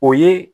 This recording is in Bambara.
O ye